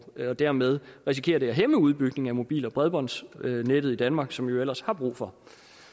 dermed risikerer det at hæmme udbygningen af mobil og bredbåndsnettet i danmark som vi jo ellers har brug for